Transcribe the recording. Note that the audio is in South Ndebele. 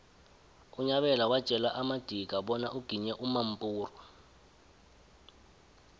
unyabela watjela amadika bonyana uginye umampuru